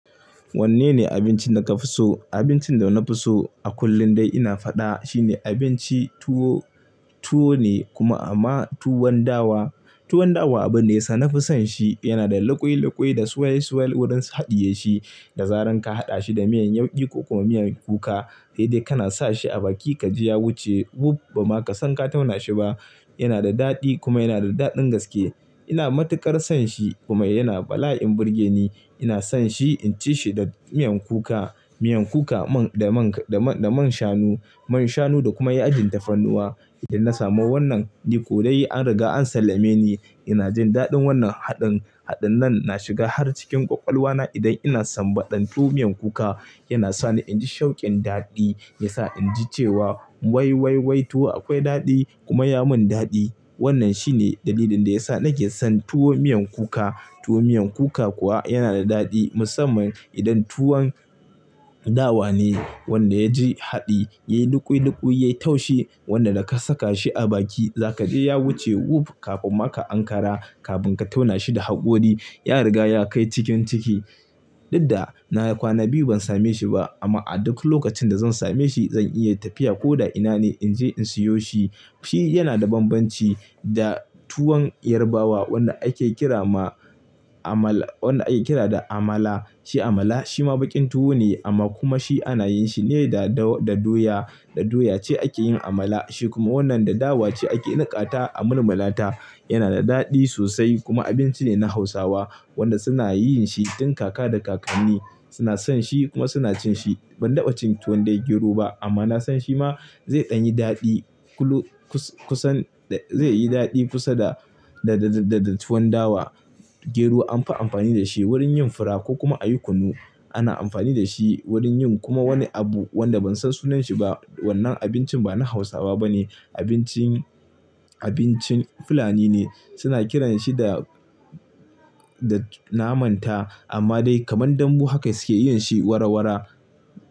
Wanne ne abincin da ka fi so? Abincin da na fi so a kullum dai ina faɗa shine abinci tuwo, tuwo ne kuma amma tuwon dawa. Tuwon dawa abun ne ya sa na fi son shi, yana da loƙoi-loƙoi da suwale-suwale wurin haɗiye shi, da zaran ka haɗa shi da miyan yaukii ko kuma miyan kuka, sai dai kana sa shi a baki ka ji ya wuce wuf! Ba ma ka san ka tauna shi ba. Yana da daɗi kuma yana da daɗin gaske. Ina matuƙar son shi kuma yana bala'in burge ni. Ina son shi in ci shi da miyan kuka, miyan kuka da man shanu, man shanu da kuma ya ajin tafarnuwa. Idan na samu wannan, ni ko dai an riga an sallame ni. Ina jin daɗin wannan haɗin. Haɗin nan na shiga har cikin ƙwaƙwalwa na idan ina sambata tuwo miyan kuka. Yana sa ni in ji shaukin daɗi, ya sa in ji cewa wai, wai, wai tuwo akwai daɗi kuma ya mun daɗi. Wannan shi ne dalilin da ya sa nake son tuwo miyan kuka. Tuwo miyan kuka kuwa yana da daɗi musamman idan tuwon dawa ne wanda ya ji haɗi, yayi loƙoi-loƙoi, yayi taushe, wanda da ka saka shi a baki za ka ji ya wuce wuf! Kafin ma ka Ankara, ka fun ka tauna shi da haƙori, ya riga ya kai cikin ciki. Duk da na kwana biyu ban same shi ba amma a duk lokacin da zan same shi zan iya tafiya ko da ina ne in je in siyo shi. Shi yana da bambanci da tuwon Yarbawa wanda ake kira da "Amala". Shi Amala shi ma baƙin tuwo ne amma kuma shi ana yin shi ne da doya. Da doya ce ake yin Amala. Shi kuma wannan da dawa ce ake niƙata a murmulata. Yana da daɗi sosai kuma abinci ne na Hausawa wanda suna yin shi tin kaka da kakanni suna son shi kuma suna cin shi. Ban taɓa cin tuwon da ya gero ba amma na san shi ma zai ɗanyi daɗi kusan, zai yi daɗi kusa da, da, da tuwon dawa. Gero an fi amfani da shi wurin yin fura ko kuma a yi kunu. Ana amfani da shi wurin yin kuma wani abu wanda ban san sunan shi ba. Wannan abincin ba na Hausawa ba ne, abincin, abincin Fulani ne. Suna kiran shi da, da "Namanta" amma dai kamar dambu haka suke yin shi warawara.